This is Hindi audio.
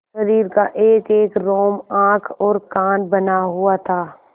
शरीर का एकएक रोम आँख और कान बना हुआ था